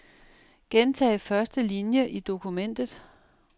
Gentag første linie i dokumentet.